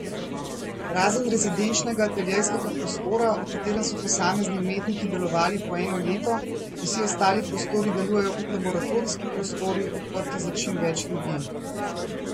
Razen rezidenčnega ateljejskega prostora, v katerem so posamezni umetniki delovali po eno leto, vsi ostali prostori delujejo kot laboratorijski prostori, odprti za čim več ljudi.